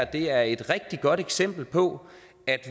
det er et rigtig godt eksempel på at